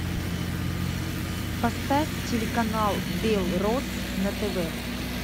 поставь телеканал белрос на тв